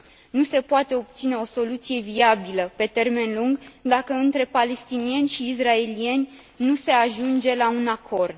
Nu se poate obține o soluție viabilă pe termen lung dacă între palestinieni și israelieni nu se ajunge la un acord.